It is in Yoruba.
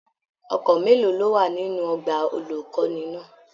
Ọkọ mélòó ló wà nínú ọgbà olukọni náà?